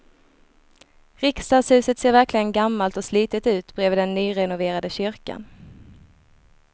Riksdagshuset ser verkligen gammalt och slitet ut bredvid den nyrenoverade kyrkan.